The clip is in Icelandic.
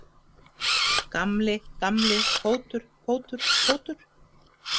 Gamli, gamli, fótur, fótur, fótur.